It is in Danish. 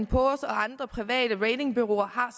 poor’s og andre private ratingbureauer har